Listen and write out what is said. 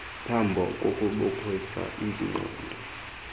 phambo kukukhulisa iingqondo